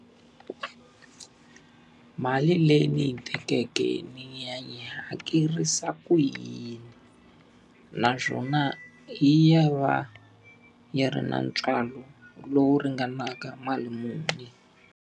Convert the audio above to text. Mali leyi ni yi tikeke ni yi hakerisa ku yini? Naswona yi ya va yi ri na ntswalo lowu ringanaka mali muni?